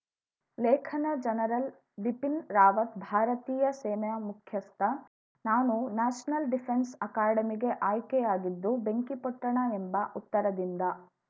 ಲೇಖನ ಜನರಲ್‌ ಬಿಪಿನ್‌ ರಾವತ್‌ ಭಾರತೀಯ ಸೇನೆ ಮುಖ್ಯಸ್ಥ ನಾನು ನ್ಯಾಷನಲ್‌ ಡಿಫೆನ್ಸ್‌ ಅಕಾಡೆಮಿಗೆ ಆಯ್ಕೆಯಾಗಿದ್ದು ಬೆಂಕಿಪೊಟ್ಟಣ ಎಂಬ ಉತ್ತರದಿಂದ